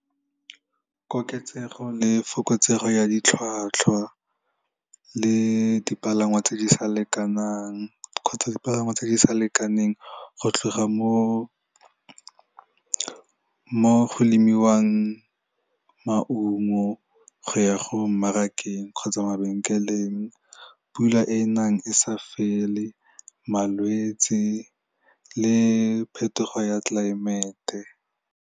Koketsego le fokotsego ya ditlhwatlhwa le dipalangwa tse di sa lekanang kgotsa dipalangwa tse di sa lekaneng go tloga mo go lemiwang maungo go ya go mmarakeng kgotsa mabenkeleng, pula e e nang e sa fele, malwetsi le phetogo ya tlelaemete.